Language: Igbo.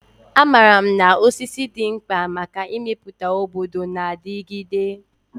Amaara m na osisi dị mkpa maka ịmepụta obodo na-adigide.